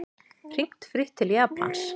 Hringt frítt til Japans